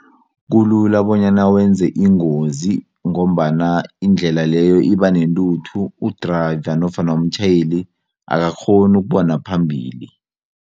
Kulula bonyana wenze ingozi ngombana indlela leyo ibanentuthu u-driver nofana umtjhayeli akakghoni ukubona phambili.